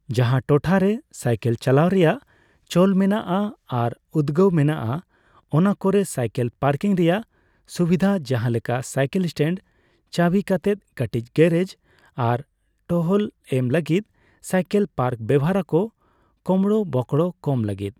ᱡᱟᱦᱟᱸ ᱴᱚᱴᱷᱟ ᱨᱮ ᱥᱟᱭᱠᱮᱞ ᱪᱟᱞᱟᱣ ᱨᱮᱭᱟᱜ ᱪᱚᱞ ᱢᱮᱱᱟᱜᱼᱟ ᱟᱨ ᱩᱫᱜᱟᱹᱣ ᱢᱮᱱᱟᱜᱼᱟ, ᱚᱱᱟ ᱠᱚᱨᱮ ᱥᱟᱭᱠᱮᱞ ᱯᱟᱨᱠᱤᱝ ᱨᱮᱭᱟᱜ ᱥᱩᱵᱤᱫᱷᱟ ᱡᱟᱦᱟᱸ ᱞᱮᱠᱟ ᱥᱟᱭᱠᱮᱞ ᱥᱴᱮᱱᱰ, ᱪᱟᱹᱵᱤ ᱠᱟᱛᱮᱫ ᱠᱟᱹᱴᱤᱡ ᱜᱮᱨᱮᱡᱽ ᱟᱨ ᱴᱚᱦᱚᱞ ᱮᱢ ᱞᱟᱹᱜᱤᱫ ᱥᱟᱭᱠᱮᱞ ᱯᱟᱨᱠ ᱵᱮᱣᱦᱟᱨ ᱟᱠᱚ ᱠᱳᱢᱵᱽᱲᱳ ᱵᱳᱠᱲᱳ ᱠᱚᱢ ᱞᱟᱹᱜᱤᱫ ᱾